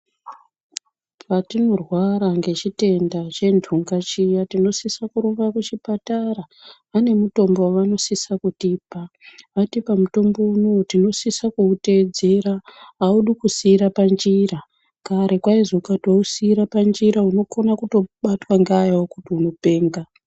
Patinorwara nechindenda chendunga chiya, tinosise kurumba kuchipatara ,vanemutombo wavanosise kutipa. Vatipa mutombo uyu tinosisa kuwutedzera, haudi kusiirwa panjira. Kare kwaizonzi ukasiira panjira unokona kutobatwa ngaayo kuti unopenga.